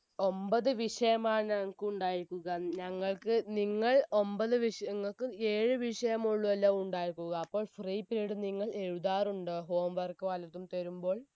ഒമ്പത് വിഷയമാണ് ഞങ്ങക്ക് ഉണ്ടായിരിക്കുക ഞങ്ങക്ക് നിങ്ങൾ ഒമ്പത് വിഷയ നിങ്ങക് ഏഴ് വിഷയമുള്ളൂ അല്ലെ ഉണ്ടായിക്കുക അപ്പോൾ free period നിങ്ങൾ എഴുതാറുണ്ടോ home work വല്ലതും തരുമ്പോൾ